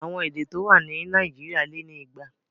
Àwọn èdè tó wà ní Nàìjíríà lé ni igba.